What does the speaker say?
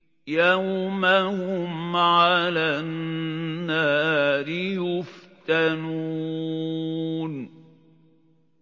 يَوْمَ هُمْ عَلَى النَّارِ يُفْتَنُونَ